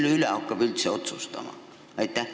Kes üldse hakkab selle üle otsustama?